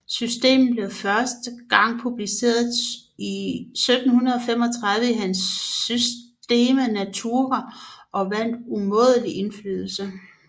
Systemet blev første gang publiceret 1735 i hans Systema Naturae og vandt umådelig indflydelse